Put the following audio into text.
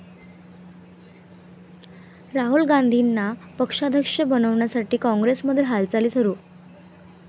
राहुल गांधींना पक्षाध्यक्ष बनवण्यासाठी काँग्रेसमध्ये हालचाली सुरु